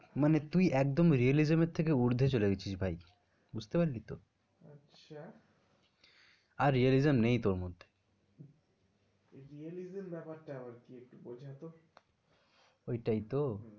মানে তুই একদম realism এর থেকে উর্দ্ধে চলে গেছিস ভাই। বুঝতে পরলি তো? আচ্ছা, আর realism নেই তোর মধ্যে। Realism ব্যাপারটা আবার কি? একটু বোঝা তো। ওইটাই তো,